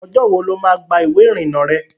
Ọjọ́ wo ló má gba ìwé ìrìnà rẹ?